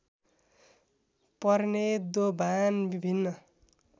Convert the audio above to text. पर्ने दोभान विभिन्न